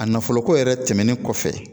A nafolo ko yɛrɛ tɛmɛnen kɔfɛ